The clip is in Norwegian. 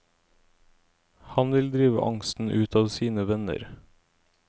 Han vil drive angsten ut av sine venner.